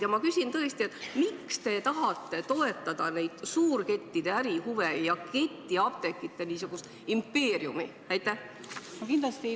Ja ma küsin tõesti: miks te tahate toetada suurkettide ärihuve ja ketiapteekide impeeriumi?